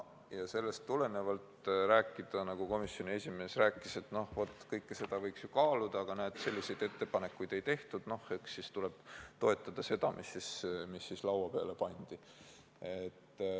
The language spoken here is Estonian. Nagu komisjoni esimees rääkis, et kõike seda võiks ju kaaluda, aga näed, selliseid ettepanekuid ei tehtud, noh, eks siis tuleb toetada seda, mis laua peale pandi.